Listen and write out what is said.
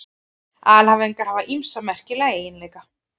Alhæfingar hafa ýmsa merkilega eiginleika.